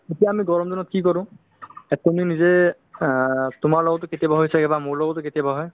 এতিয়া আমি গৰম দিনত কি কৰো অ তোমাৰ লগতো কেতিয়াবা হৈছে বা মোৰ লগতো কেতিয়াবা হয়